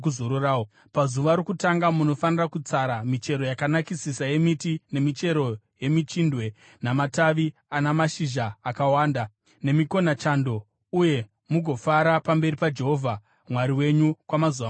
Pazuva rokutanga munofanira kutsara michero yakanakisisa yemiti, nemichero yemichindwe, namatavi ana mashizha akawanda, nemikonachando, uye mugofara pamberi paJehovha Mwari wenyu kwamazuva manomwe.